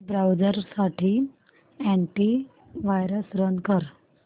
browser साठी antivirus run कर